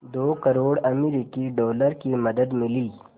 दो करोड़ अमरिकी डॉलर की मदद मिली